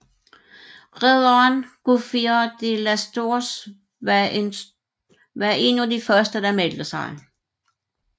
Ridderen Gouffier de Lastours var en af de første der meldte sig